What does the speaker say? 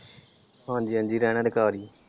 ਹਾਂਜੀ ਹਾਂਜੀ ਰਹਿਣਾ ਤੇ ਘਰ ਈ ਆ।